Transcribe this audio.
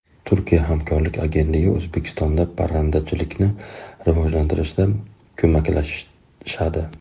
Turkiya hamkorlik agentligi O‘zbekistonda parrandachilikni rivojlantirishda ko‘maklashadi.